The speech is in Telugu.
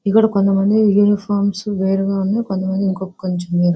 ఇక్కడ కొంతమంది యూనిఫార్మ్స్ వేరుగా ఉన్నాయి. కొంతమంది ఇంకొంచెం వేర్--